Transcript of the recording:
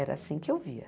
Era assim que eu via.